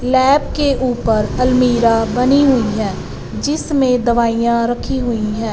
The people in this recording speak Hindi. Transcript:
लैब के ऊपर अलमीरा बनी हुई है जिसमें दवाइयां रखी हुई हैं।